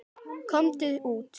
Komdu út!